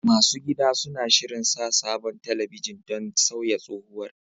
Masu gida suna shirin sa sabon talabijin don sauya tsohowar.